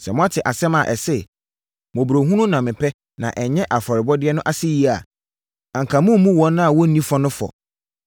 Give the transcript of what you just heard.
Sɛ moate asɛm a ɛse, ‘Mmɔborɔhunu na mepɛ na ɛnyɛ afɔrebɔ’ no ase yie a, anka moremmu wɔn a wɔnni fɔ no fɔ.